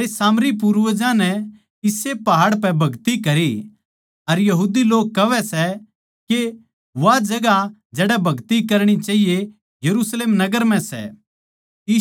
म्हारै सामरी पूर्वजां नै इस्से पहाड़ पै भगति करी अर यहूदी लोग कहवै सै के वा जगहां जड़ै भगति करणी चाहिए यरुशलेम नगर म्ह सै